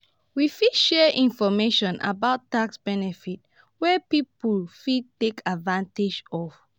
we fit share information about tax benefits wey people fit take advantage of.